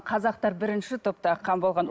қазақта бірінші топтағы қан болған